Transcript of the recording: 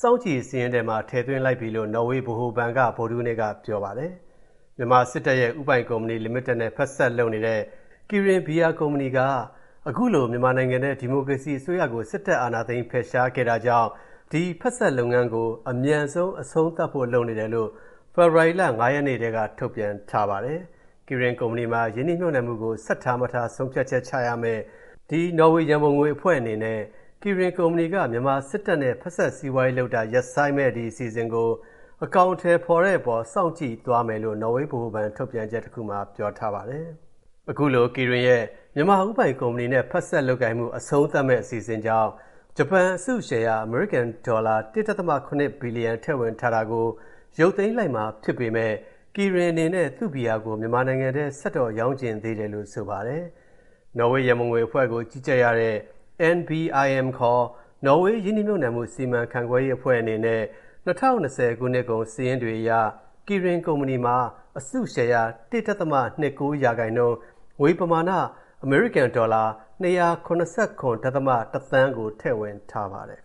စောင့်ကြည့်စာရင်းထဲမှာ ထည့်သွင်းလိုက်ပြီလို့ နော်ဝေးဗဟိုဘဏ်က ဗုဒ္ဓဟူးနေ့ကပြောပါတယ်။ မြန်မာစစ်တပ်ရဲ့ ဦးပိုင်ကုမ္ပဏီလီမီတက်နဲ့ ဖက်စပ်လုပ်နေတဲ့ Kirin ဘီယာကုမ္ပဏီက အခုလို မြန်မာနိုင်ငံထဲ ဒီမိုကရေစီအစိုးရကို စစ်တပ်က အာဏာသိမ်းဖယ်ရှားခဲ့တာကြောင့် ဒီဖက်စပ်လုပ်ငန်းကို အမြန်ဆုံး အဆုံးသတ်ဖို့လုပ်နေတယ်လို့ ဖေဖော်ဝါရီလ ၅ ရက်နေ့က ထုတ်ပြန်ထားပါတယ်။ Kirin ကုမ္ပဏီမှာ ရင်းနှီးမြှုပ်နှံမှုကို ဆက်ထားမထား ဆုံးဖြတ်ချက်ချရမယ့် နော်ဝေးရန်ပုံငွေအဖွဲ့အနေနဲ့ Kirin ကုမ္ပဏီက မြန်မာစစ်တပ်နဲ့ ဖက်စပ်စီးပွားရေးလုပ်တာ ရပ်ဆိုင်းမယ့်အစီအစဉ်ကို အကောင်အထည်ဖော်တဲ့အပေါ် စောင့်ကြည့်သွားမယ်လို့ နော်ဝေးဗဟိုဘဏ် ထုတ်ပြန်ချက်တခုမှာ ပြောထားပါတယ်။ အခုလို Kirin ရဲ့ မြန်မာဦးပိုင်ကုမ္ပဏီနဲ့ ဖက်စပ်လုပ်ကိုင်မှု အဆုံးသတ်မယ့်အစီအစဉ်ကြောင့် ဂျပန်အစုရှယ်ရာ အမေရိကန်ဒေါ်လာ ၁.၇ ဘီလီယံ ထည့်ဝင်ထားတာကို ရုပ်သိမ်းလိုက်မှာဖြစ်ပေမဲ့ Kirin အနေနဲ့ သူ့ဘီယာကို မြန်မာနိုင်ငံထဲ ဆက်တော့ရောင်းချင်သေးတယ်လို့ ဆိုပါတယ်။ နော်ဝေရန်ပုံငွေအဖွဲ့ကို ကြီးကြပ်ရတဲ့ NBIM ခေါ် နော်ဝေး ရင်းနှီးမြှုပ်နံှမှု စီမံရေးအဖွဲ့အနေနဲ့ ၂၀၂၀ နှစ်ကုန်အထိစာရင်းတွေအရ Kirin ကုမ္ပဏီမှာ အစုရှယ်ရာ ၁.၂၉% ၊ ငွေပမာဏ အမေရိကန်ဒေါ်လာ ၂၇၇.၁ သန်းကို ထည့်ဝင်ထားပါတယ်